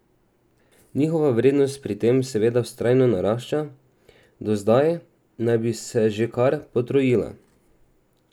Njihova vrednost pri tem seveda vztrajno narašča, do zdaj naj bi se že kar potrojila!